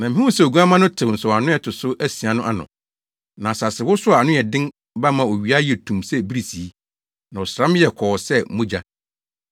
Na mihuu sɛ Oguamma no tew nsɔwano a ɛto so asia no ano. Na asasewosow a ano yɛ den ba maa owia yɛɛ tumm sɛ birisii, na ɔsram yɛɛ kɔɔ sɛ mogya.